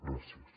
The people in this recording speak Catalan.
gràcies